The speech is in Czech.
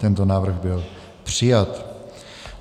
Tento návrh byl přijat.